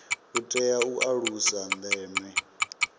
u itela u alusa ndeme